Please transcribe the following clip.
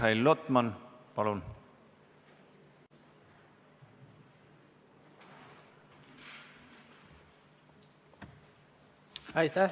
Mihhail Lotman, palun!